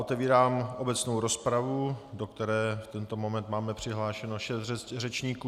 Otevírám obecnou rozpravu, do které v tento moment máme přihlášeno šest řečníků.